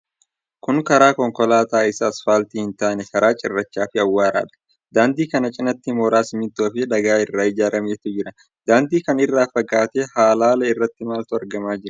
Kun karaa konkolaataa isa asfaaltii hin taane karaa cirrachaa fi awwaaradha. Daandii kana cinaatti mooraa simintoo fi dhagaa irraa ijaarametu jira. Daandii kana irraa fagaatee halaala irra maaltu argamaa jira?